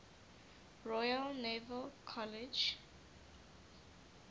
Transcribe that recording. royal naval college